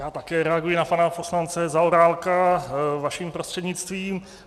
Já také reaguji na pana poslance Zaorálka vaším prostřednictvím.